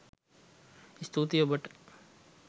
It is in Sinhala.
ස්තූතී ඔබට!